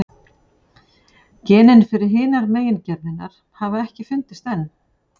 Genin fyrir hinar megingerðirnar hafa ekki fundist enn.